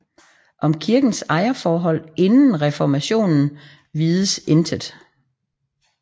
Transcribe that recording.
Om kirkens ejerforhold inden reformationen vides intet